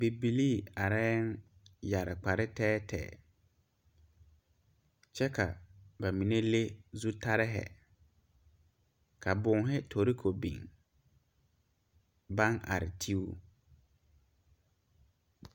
Bibilee areyɛ yeere kpare tɛɛtɛɛ kyɛ ka ba mine leŋ zutaare ka bonne tareko biŋ baŋ are te o.